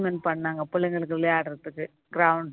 பண்ணாங்க பிள்ளைங்களுக்கு விளையாடுறதுக்கு